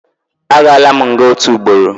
Agaala m nga otu ugboro